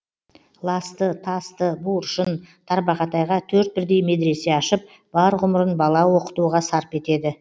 ласты тасты буыршын тарбағатайға төрт бірдей медресе ашып бар ғұмырын бала оқытуға сарп етеді